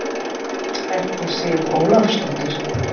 Ekki Sif Ólafsdóttir.